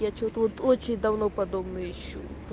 я чего-то вот очень давно подобное ищу